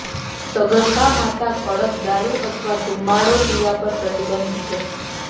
સગર્ભા માતા કડક દારૂ અથવા ધુમાડો પીવા પર પ્રતિબંધ છે